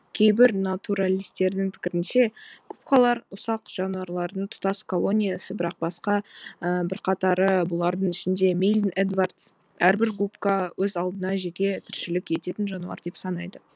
кейбір натуралистердің пікірінше губкалар ұсақ жануарлардың тұтас колониясы бірақ басқа бірқатары бұлардың ішінде мильн эдварадс әрбір губка өз алдына жеке тіршілік ететін жануар деп санайды